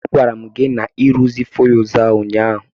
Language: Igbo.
A gwara m gi na-ịruzie fuyuz ahụ ụnyaahụ.